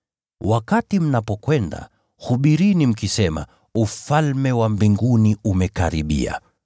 Wakati mnapokwenda, hubirini mkisema, ‘Ufalme wa Mbinguni umekaribia.’